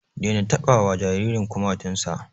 Daina taɓa wa jaririn kumatun sa!